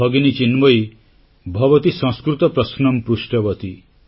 ଭଗିନୀ ଚିନ୍ମୟୀ ଭବତି ସଂସ୍କୃତ ପ୍ରଶ୍ନଂ ପୃଷ୍ଟବତୀ